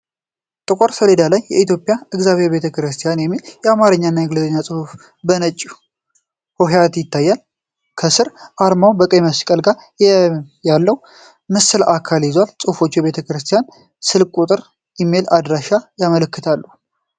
ጥቁር ሰሌዳ ላይ "የኢትዮጵያ የእግዚአብሔር ቤተ ክርስቲያን" የሚል የአማርኛና የእንግሊዝኛ ጽሑፍ በነጭ ሆሄያት ይታያል። ከስር አርማው ከቀይ መስቀል ጋር ያለውን የምስሉ አካል ይዟል። ጽሑፎቹ የቤተክርስቲያኑን ስልክ ቁጥርና ኢሜይል አድራሻ ያመለክታሉ።